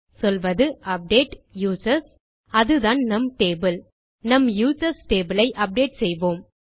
சொல்வது update users அதுதான் நம் டேபிள் நம் யூசர்ஸ் டேபிள் ஐ அப்டேட் செய்வோம்